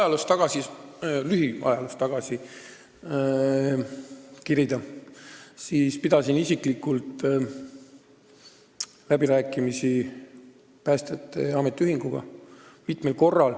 Kui veidi lühiajaloos tagasi kerida, siis ma pidasin isiklikult mitmel korral läbirääkimisi päästjate ametiühinguga.